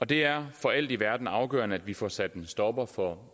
det er for alt i verden afgørende at vi får sat en stopper for